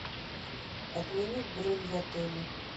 отменить бронь в отеле